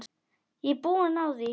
Ég er búin á því.